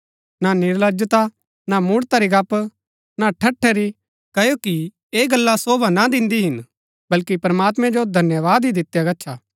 ना निर्लजलता ना मूढ़ता री गप्‍प ना ठट्‍ठै री क्ओकि ऐह गल्ला शोभा ना दिन्दी हिन बल्‍की प्रमात्मैं जो धन्यवाद ही दितिआ गच्छा